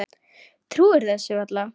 Trúir þessu varla.